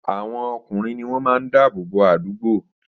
Àwọn ọkùnrin ní wón máa ń dáàbò bò àdúgbò